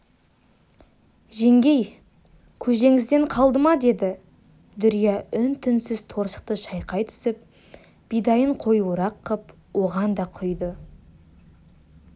жеңгей көжеңізден қалды ма деді дүрия үн-түнсіз торсықты шайқай түсіп бидайын қоюырақ қып оған да құйды